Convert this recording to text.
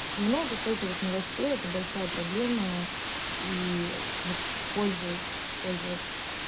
много фейковых новостей это большая проблема и вот пользуясь пользуясь